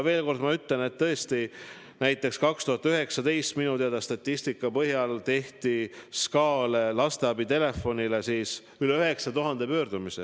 Veel kord ma ütlen, et näiteks 2019. aasta statistika põhjal tehti minu teada SKA lasteabi telefonile üle 9000 pöördumise.